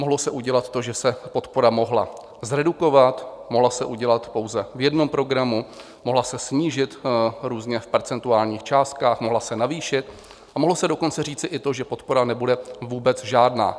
Mohlo se udělat to, že se podpora mohla zredukovat, mohla se udělat pouze v jednom programu, mohla se snížit různě v percentuálních částkách, mohla se navýšit, a mohlo se dokonce říci i to, že podpora nebude vůbec žádná.